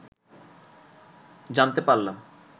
জানতে পারলাম